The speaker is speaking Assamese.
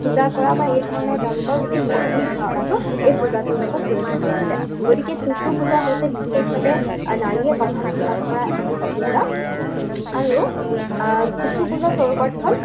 পূজা কৰা বা এইধৰণৰ তেওঁলোকৰ গোটেই সতীৰ ধাৰণাটো এই পূজাটোৰ লগত জড়িত হৈ আছে। গতিকে টুচু পূজা হৈছে বিশেষভাৱে নাৰীয়ে প্ৰাধান্য লাভ কৰা এবিধ পূজা। আৰু আহ টুচু পূজা স্বৰূপাৰ্থত